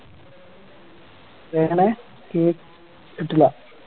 എങ്ങനെ കേ ട്ടില്ല